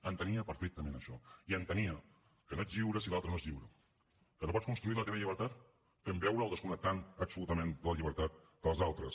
entenia perfectament això i entenia que no ets lliure si l’altre no és lliure que no pots construir la teva llibertat fent veure o desconnectant absolutament de la llibertat dels altres